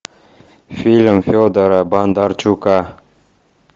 фильм федора бондарчука